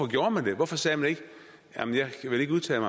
gjorde det hvorfor sagde man ikke jeg vil ikke udtale